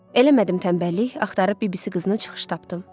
Eləmədim tənbəllik, axtarıb bibisi qızını çıxış tapdım.